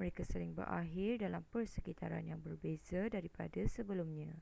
mereka sering berakhir dalam persekitaran yang berbeza daripada sebelumnya